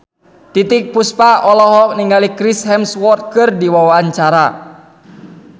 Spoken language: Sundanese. Titiek Puspa olohok ningali Chris Hemsworth keur diwawancara